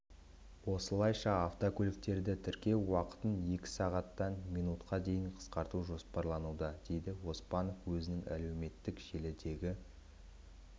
осылайша автокөліктерді тіркеу уақытын екі сағаттан минутқа дейін қысқарту жоспарлануда дейді оспанов өзінің әлеуметтік желідегі